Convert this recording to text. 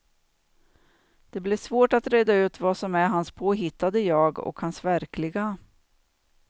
Det blir svårt att reda ut vad som är hans påhittade jag, och hans verkliga.